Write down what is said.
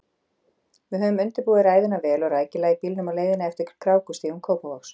Við höfðum undirbúið ræðuna vel og rækilega í bílnum á leiðinni eftir krákustígum Kópavogs.